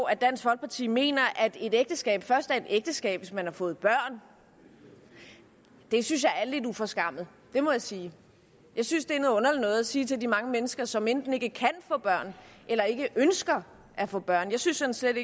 at dansk folkeparti mener at et ægteskab først er et ægteskab hvis man har fået børn det synes jeg er lidt uforskammet må jeg sige jeg synes det er noget underligt noget at sige til de mange mennesker som enten ikke kan få børn eller ikke ønsker at få børn jeg synes sådan set